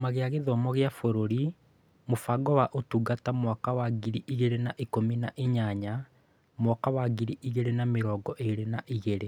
Kĩama kĩa Gĩthomo gĩa Bũrũri Mũbango wa Ũtungata mwaka wa ngiri igĩrĩ na ikũmi na inyanya-mwaka wa ngiri igĩrĩ na mĩrongo ĩĩrĩ na igĩrĩ